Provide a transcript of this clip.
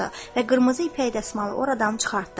Və qırmızı ipək dəsmalı oradan çıxartdı.